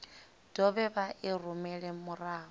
dovhe vha i rumele murahu